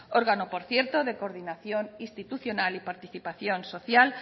órgano por cierto de coordinación institucional y participación social